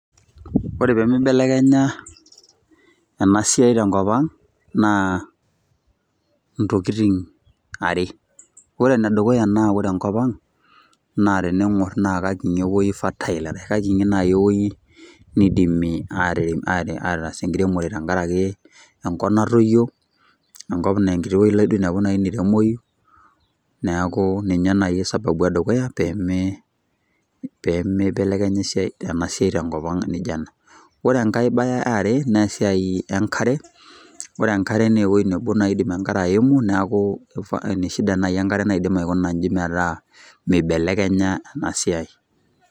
Ore pemibelekenya enasiai tenkop ang',naa intokiting' are. Ore enedukuya na ore enkop ang',na tening'or na kakinyi ewoi fertile. Kakinyi nai ewoi nidimi aterem ataas enkiremore tenkaraki enkop natoyio, enkop na enkiti wei ilo aje duo ainepu naremoi, neeku ninye nai sababu edukuya peme pemeibelekenya enasiai tenkop ang' nijo ena. Ore enkae ebae eare, nesiai enkare, ore enkare na ewei nebo nai idim enkare aimu, neeku eneshida nai enkare naidim aikuna iji metaa mibelekenya enasiai.